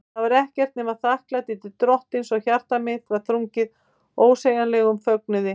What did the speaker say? Ég var ekkert nema þakklæti til Drottins, og hjarta mitt var þrungið ósegjanlegum fögnuði.